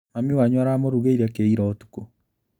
Mami wanyu aramũrugĩire kĩi ira ũtukũ?